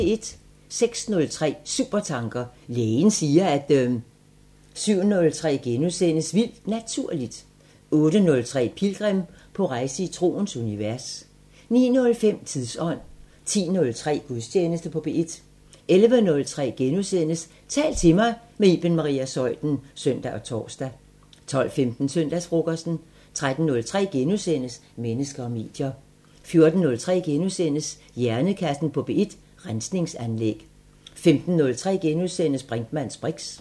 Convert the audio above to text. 06:03: Supertanker: Lægen siger at ... 07:03: Vildt Naturligt * 08:03: Pilgrim – på rejse i troens univers 09:05: Tidsånd 10:03: Gudstjeneste på P1 11:03: Tal til mig – med Iben Maria Zeuthen *(søn og tor) 12:15: Søndagsfrokosten 13:03: Mennesker og medier * 14:03: Hjernekassen på P1: Rensningsanlæg * 15:03: Brinkmanns briks *